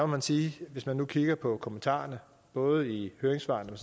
man sige hvis man kigger på kommentarerne både i høringssvarene